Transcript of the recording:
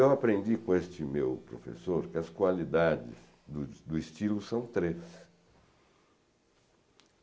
Eu aprendi com este meu professor que as qualidades do do estilo são três.